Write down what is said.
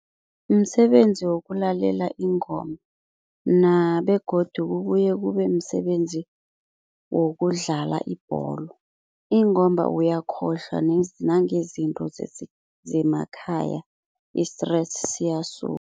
Msebenzi wokulalela ingoma begodu kubuye kube msebenzi wokudlala ibholo ingomba uyakhohlwa nangezinto zemakhaya i-stress siyasuka.